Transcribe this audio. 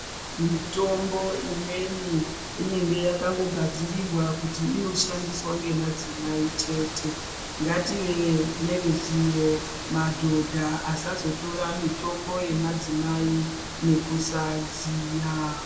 Mitombo imweni inenge yakangogadzirirwa kuti inoshandiswa nemadzimai chete. Ngativei neruzivo, madhodha asazotora mitombo yemadzimai nekusaziya.